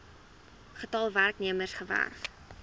getal werknemers gewerf